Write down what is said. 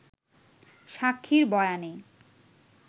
সাক্ষীর বয়ানে